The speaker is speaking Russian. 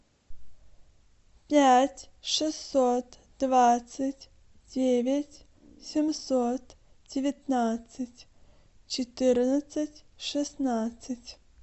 пять шестьсот двадцать девять семьсот девятнадцать четырнадцать шестнадцать